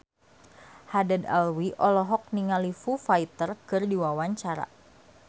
Haddad Alwi olohok ningali Foo Fighter keur diwawancara